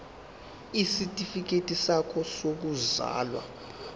isitifikedi sakho sokuzalwa